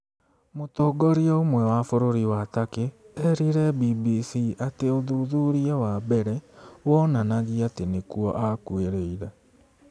Mũtongoria ũmwe wa bũrũri wa Turkey eerire BBC atĩ ũthuthuria wa mbere wonanagia atĩ nĩkuo aakuĩrĩire.